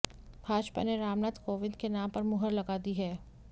भाजपा ने रामनाथ कोविंद के नाम पर मुहर लगा दी है